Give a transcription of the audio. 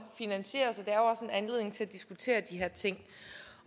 finansieres er også en anledning til at diskutere de her ting